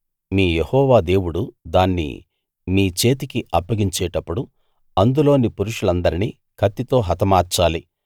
మీ Jehovah దేవుడు దాన్ని మీ చేతికి అప్పగించేటప్పుడు అందులోని పురుషులందరినీ కత్తితో హతమార్చాలి